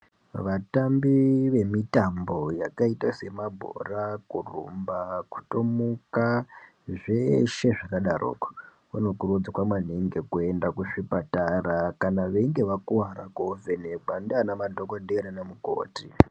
Vatambi vemitambo yakaita semabhora, kurumba, kutomuka zveshe zvakadaroko vanokurudzirwa maningi kuenda kuzvipatara kana veinge vakuvara kuovhenekwa ndiana madhogodhera naana mukoti.